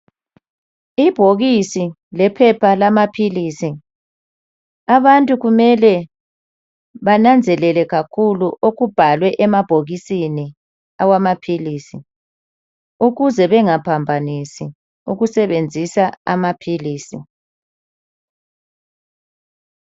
Ibhokisi lephepha lamaphilisi. Abantu kumele bananzelele kakhulu okubhalwe emabhokisini awamaphilisi ukuze bengaphambanisi ukusebenzisa amaphilisi.